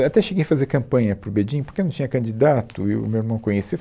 Eu até cheguei a fazer campanha para o Bedim porque eu não tinha candidato e o meu irmão conhecia.